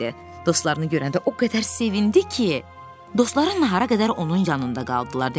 Dostlarını görəndə o qədər sevindi ki, dostları nahara qədər onun yanında qaldılar.